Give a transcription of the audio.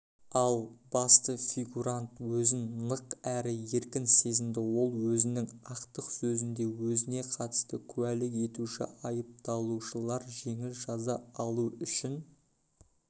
ал басты фигурант өзін нық әрі еркін сезінді ол өзінің ақтық сөзінде өзіне қатысты куәлік етуші айыпталушылар жеңіл жаза алу үшін